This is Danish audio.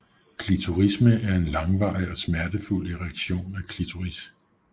Klitorisme er en langvarig og smertefuld erektion af klitoris